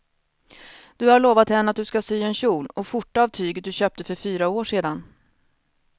Du har lovat henne att du ska sy en kjol och skjorta av tyget du köpte för fyra år sedan.